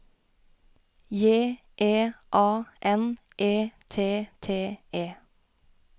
J E A N E T T E